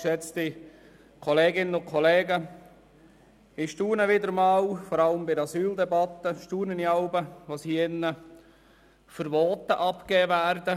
Vor allem bei der Asyldebatte staune ich jeweils, über die Voten, die in diesem Saal abgegeben werden.